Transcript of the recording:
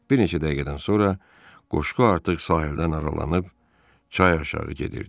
Bir neçə dəqiqədən sonra qoşqu artıq sahildən aralanıb çay aşağı gedirdi.